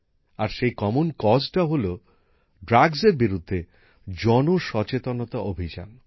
আর সেই অভিন্ন উদ্যোগটি হল ড্রাগসের বিরুদ্ধে জন সচেতনতা অভিযান